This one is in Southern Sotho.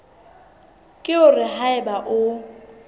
ke hore ha eba o